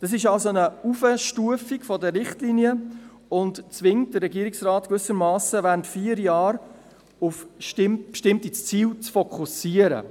» Dies ist somit eine Heraufstufung der Richtlinien und zwingt den Regierungsrat gewissermassen dazu, während vier Jahren auf bestimmte Ziele zu fokussieren.